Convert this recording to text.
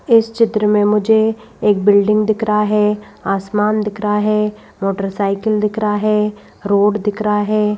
इस चित्र में मुझे एक बिल्डिंग दिख रहा है आसमान दिख रहा है मोटरसाइकिल दिख रहा है रोड दिख रहा है।